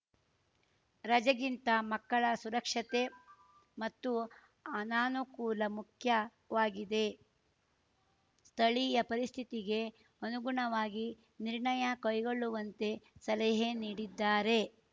ರಜೆಗಿಂತ ಮಕ್ಕಳ ಸುರಕ್ಷತೆ ಮತ್ತು ಅನಾನುಕೂಲ ಮುಖ್ಯವಾಗಿದೆ ಸ್ಥಳೀಯ ಪರಿಸ್ಥಿತಿಗೆ ಅನುಗುಣವಾಗಿ ನಿರ್ಣಯ ಕೈಗೊಳ್ಳುವಂತೆ ಸಲಹೆ ನೀಡಿದ್ದಾರೆ